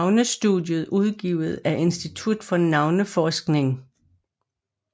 Navnestudier udgivet af Institut for Navneforskning